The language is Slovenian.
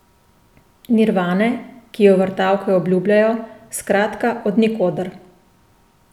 Nirvane, ki jo vrtavke obljubljajo, skratka od nikoder.